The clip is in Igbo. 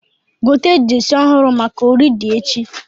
Gote jesi ọhụrụ maka ori di echi